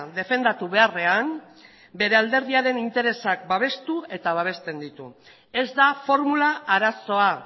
defendatu beharrean bere alderdiaren interesak babestu eta eta babesten ditu ez da formula arazoa